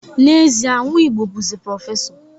N'ezie, Nwigbo bụzi prọfesọ